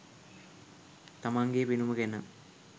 තමන්ගේ පෙනුම ගැන.